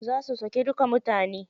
Za su sake duka mutanen.